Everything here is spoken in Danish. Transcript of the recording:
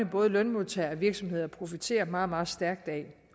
både lønmodtagere og virksomheder profiterer meget meget stærkt af